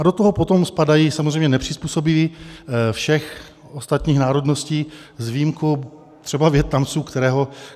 A do toho potom spadají samozřejmě nepřizpůsobiví všech ostatních národností, s výjimkou třeba Vietnamců, kterého...